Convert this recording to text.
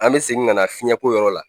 An mɛ segin ka na fiyɛnko yɔrɔ la.